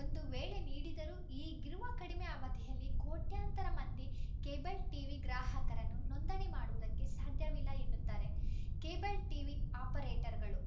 ಒಂದು ವೇಳೆ ನೀಡಿದರೂ ಈಗಿರುವ ಕಡಿಮೆ ಅವಧಿಯಲ್ಲಿ ಕೋಟ್ಯಾಂತರ ಮಂದಿ ಕೇಬಲ್‌ ಟಿವಿ ಗ್ರಾಹಕರನ್ನು ನೋಂದಣಿ ಮಾಡುವುದಕ್ಕೆ ಸಾಧ್ಯವಿಲ್ಲ ಎನ್ನುತ್ತಾರೆ ಕೇಬಲ್‌ ಟಿವಿ ಆಪರೇಟರ್‌ಗಳು